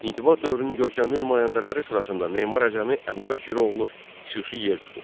İntibah dövrünün görkəmli nümayəndələri sırasında memar Əcəmi Əbubəkiroğlu xüsusi yer tutur.